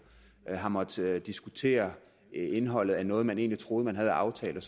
har måttet diskutere indholdet af noget man egentlig troede man havde aftalt